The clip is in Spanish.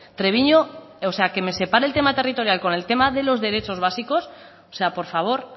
treviño o sea que me separe el tema territorial con el tema de los derechos básicos o sea por favor